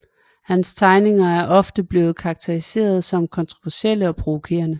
Hans tegninger er ofte blevet karakteriseret som kontroversielle og provokerende